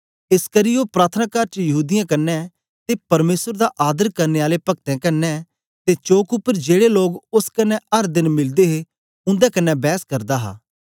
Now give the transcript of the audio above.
एसकरी ओ प्रार्थनाकार च यहूदीयें क्न्ने ते परमेसर दा आदर करने आले पक्तें कन्ने ते चौक उपर जेड़े लोग ओस कन्ने अर देन मिलदे हे उन्दे कन्ने बैस करदा हा